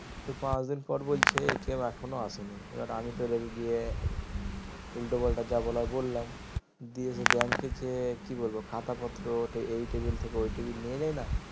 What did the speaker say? তো পাঁচদিন পর বলছে এখনো আসেনি এবার আমি তো রেগে গিয়ে উল্টোপাল্টা যা বলার বললাম দিয়ে সে bank এ যেয়ে কি বলবো খাতা পত্র এই টেবিল থেকে ওই টেবিল নিয়ে যাই না